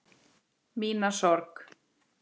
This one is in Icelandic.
Mína sorg.